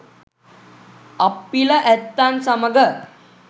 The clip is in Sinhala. අප්පිල ඇත්තන් සමග